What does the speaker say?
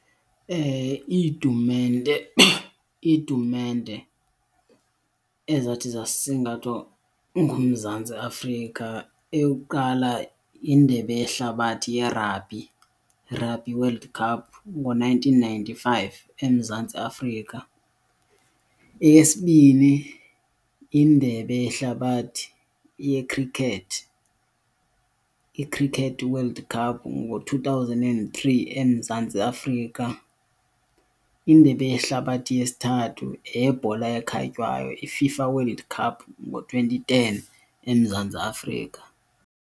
Iitumente, iitumente ezathi zasingathwa nguMzantsi Afrika eyokuqala yiNdebe yeHlabathi yeRabhi, iRugby World Cup, ngo-nineteen ninety-five eMzantsi Afrika. Eyesibini yiNdebe yeHlabathi yeKhrikethi, iCricket World Cup, ngo-two thousand and three eMzantsi Afrika. Indebe yehlabathi yesithathu yeyebhola ekhatywayo, iFIFA World Cup, ngo-twenty ten eMzantsi Afrika.